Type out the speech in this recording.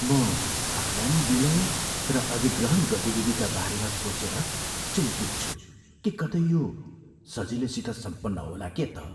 म आगामी विलय र अधिग्रहण गतिविधिका बारेमा सोचेर चिन्तित छु कि कतै यो सजिलैसित सम्पन्न होला के त।